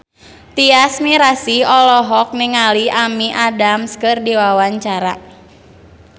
Tyas Mirasih olohok ningali Amy Adams keur diwawancara